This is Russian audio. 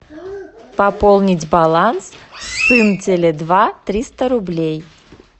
пополнить баланс сын теле два триста рублей